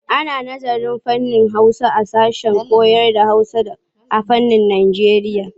Ana nazarın fannin Hausa a sashen koyarda Hausa da harsunan Najeriya.